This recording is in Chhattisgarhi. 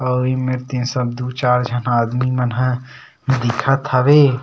अउ एमेर तीन सो दो चार आदमी मन ह दिखत हवे।